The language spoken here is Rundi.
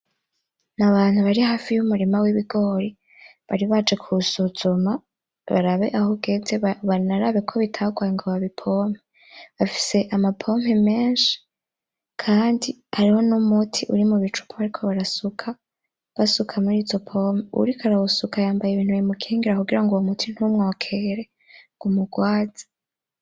N'abantu bari hafi y'umurima w'ibigori, bari baje kuwusuzuma barabe aho ugeze; banarabe ko bitagwaye ngo babipompe, bafise amapompo menshi kandi hariho n'umuti uri mu bicupa bariko barasuka, basuka murizo pompo, uwuriko arawusuka yambaye ibintu bimukingira kugira ng'uwo muti ntumwokere ng'umugwaze.